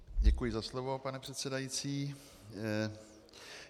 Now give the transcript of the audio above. Děkuji za slovo, pane předsedající.